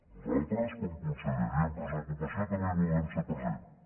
nosaltres com a conselleria empresa i ocupació també hi volem ser presents